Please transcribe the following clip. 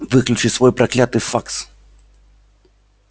выключи свой проклятый факс